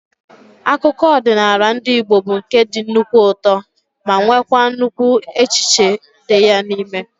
Akụkọ ọdịnala ndị Igbo bụ nke dị nnukwu ụtọ ma nweekwa nnukwu echiche dị ya n'ime